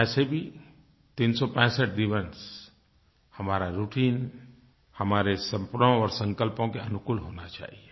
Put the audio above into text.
वैसे भी 365 दिवस हमारा राउटाइन हमारे सपनों और संकल्पों के अनुकूल होना चाहिये